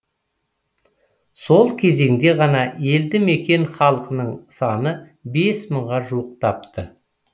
сол кезеңде ғана елді мекен халқының саны бес мыңға жуықтапты